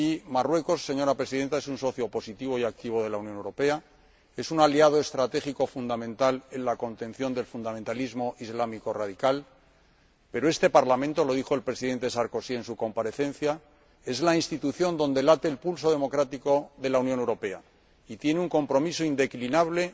Marruecos, señora Presidenta, es un socio positivo y activo de la Unión Europea, y es también un aliado estratégico fundamental en la contención del fundamentalismo islámico radical, pero este Parlamento —lo dijo el Presidente Sarkozy en su comparecencia— es la institución donde late el pulso democrático de la Unión Europea y tiene un compromiso indeclinable